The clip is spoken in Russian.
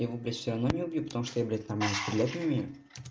я его блядь всё равно набью потому что я блядь нормально стрелять не умею